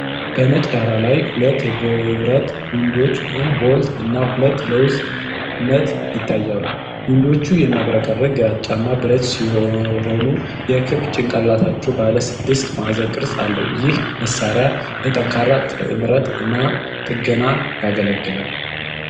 በነጭ ዳራ ላይ ሁለት የብረት ዊንዶች (ቦልት) እና ሁለት ለውዝ (ነት) ይታያሉ። ዊንዶቹ የሚያብረቀርቅ ግራጫማ ብረት ሲሆኑ፣ የክብ ጭንቅላታቸው ባለ ስድስት ማዕዘን ቅርፅ አለው። ይህ መሳሪያ ለጠንካራ ጥምረት እና ጥገና ያገለግላል።